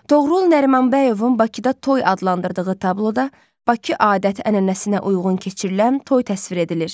Toğrul Nərimanbəyovun Bakıda Toy adlandırdığı tabloda Bakı adət-ənənəsinə uyğun keçirilən toy təsvir edilir.